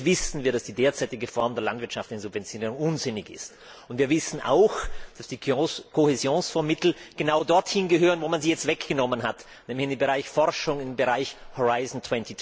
Und natürlich wissen wir, dass die derzeitige Form der Landwirtschaftssubventionen unsinnig ist, und wir wissen auch, dass die Kohäsionsfondsmittel genau dort hingehören, wo man sie jetzt weggenommen hat, nämlich in den Bereich Forschung, in den Bereich Horizont